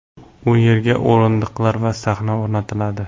U yerga o‘rindiqlar va sahna o‘rnatiladi.